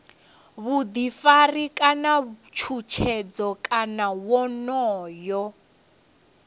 vhuḓifari kana tshutshedzo kana wonoyo